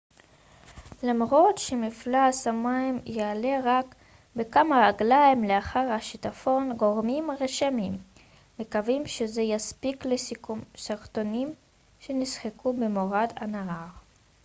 למרות שמפלס המים יעלה רק בכמה רגליים לאחר השיטפון גורמים רשמיים מקווים שזה יספיק לשיקום שרטונים שנשחקו במורד הנהר